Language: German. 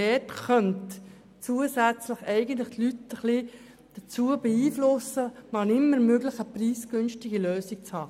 Dort könnte man die Leute dahingehend beeinflussen, wann immer möglich eine preisgünstige Lösung zu haben.